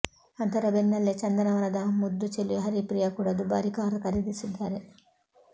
ಅದರ ಬೆನ್ನಲ್ಲೆ ಚಂದನವನದ ಮುದ್ದು ಚೆಲುವೆ ಹರಿಪ್ರಿಯಾ ಕೂಡ ದುಬಾರಿ ಕಾರ್ ಖರೀದಿಸಿದ್ದಾರೆ